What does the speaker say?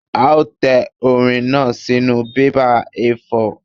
A ó tẹ orin náà sínú bébà A4.